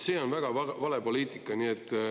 See on väga vale poliitika.